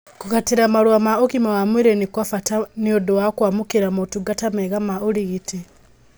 Kũgatĩra marũa ma ũgima wa mwĩrĩ nĩ kwabata nĩũndũ wa kwamũkĩra motungata mega ma ũrigiti